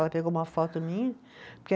Ela pegou uma foto minha, porque